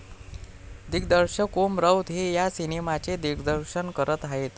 दिग्दर्शक ओम राऊत हे या सिनेमाचे दिग्दर्शन करत आहेत.